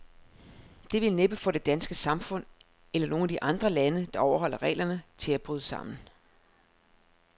Det vil næppe få det danske samfund, eller nogen af de andre lande, der overholder reglerne, til at bryde sammen.